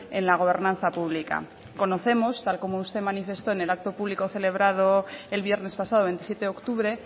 en la gobernanza pública conocemos tal y como usted manifestó en el acto público celebrado el viernes pasado veintisiete de octubre